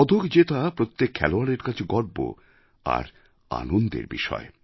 পদক জেতা প্রত্যেক খেলোয়াড়ের কাছে গর্ব আর আনন্দের বিষয়